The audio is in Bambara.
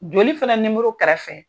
Joli fɛnɛ nimɔrɔ kɛrɛfɛ.